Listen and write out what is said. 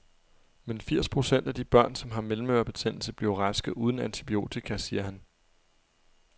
Men firs procent af de børn, som har mellemørebetændelse, bliver raske uden antibiotika, siger han.